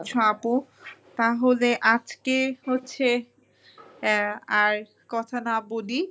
আপু। তাহলে আজকে হচ্ছে এ আর কথা না বলি ।